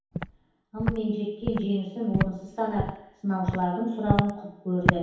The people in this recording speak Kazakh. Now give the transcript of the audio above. ыммен жеткен жеңісін орынсыз санап сынаушылардың сұрауын құп көрді